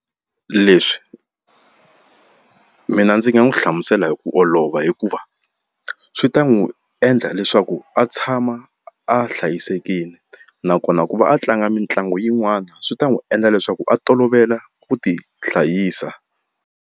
Leswi mina ndzi nga n'wi hlamusela hi ku olova hikuva swi ta n'wi endla leswaku a tshama a hlayisekile nakona ku va a tlanga mitlangu yin'wani swi ta n'wi endla leswaku a tolovela ku ti hlayisa.